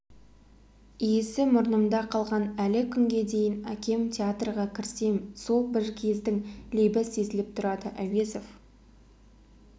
иісі мұрнымда қалған әлі күнге дейін әкемтеатрға кірсем сол бір кездің лебі сезіліп тұрады әуезов